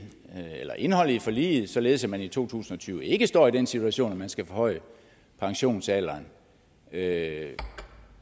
eller indholdet i forliget således at man i to tusind og tyve ikke står i den situation at man skal forhøje pensionsalderen har herre